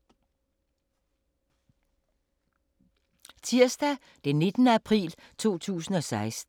Tirsdag d. 19. april 2016